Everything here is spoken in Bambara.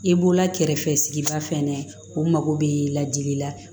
I bɔla kɛrɛfɛ sigida fɛnɛ o mako bɛ ladili la